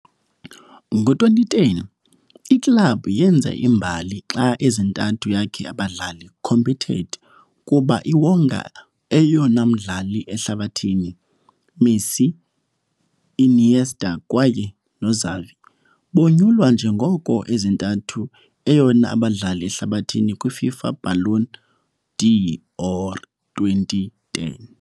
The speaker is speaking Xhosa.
Ngo-2010, i-club wenza imbali xa ezintathu yakhe abadlali competed kuba iwonga eyona mmdlali ehlabathini, Messi, Iniesta kwaye noXavi, bonyulwa njengoko ezintathu eyona abadlali ehlabathini kwi - FIFA Ballon d'or 2010.